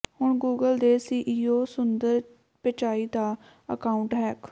ਹੁਣ ਗੂਗਲ ਦੇ ਸੀਈਓ ਸੁੰਦਰ ਪਿਚਾਈ ਦਾ ਅਕਾਊਂਟ ਹੈਕ